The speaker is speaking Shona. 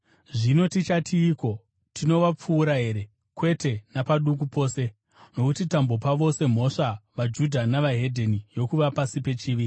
Zvino tichatiiko? Tinovapfuura here? Kwete napaduku pose! Nokuti tambopa vose mhosva, vaJudha neveDzimwe Ndudzi, yokuva pasi pechivi.